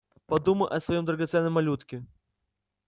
подумай о своём драгоценном малютке